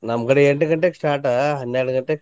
ನಮ್ಮ್ ಕಡೆ ಎಂಟ್ ಗಂಟೆಕ್ start ಹನ್ನೆಡ ಗಂಟೆಕ್ ಮುಗಿತೇತಿ.